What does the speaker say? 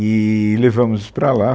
eee levamos para lá.